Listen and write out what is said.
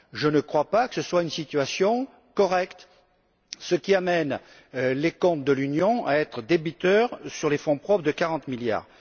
Je ne crois pas que cette situation soit correcte, car elle amène les comptes de l'Union à être débiteurs, sur les fonds propres, de 40 milliards.